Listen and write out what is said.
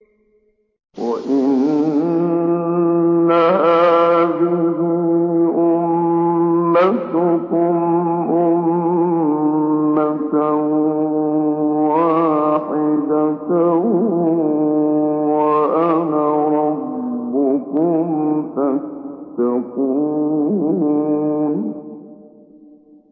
وَإِنَّ هَٰذِهِ أُمَّتُكُمْ أُمَّةً وَاحِدَةً وَأَنَا رَبُّكُمْ فَاتَّقُونِ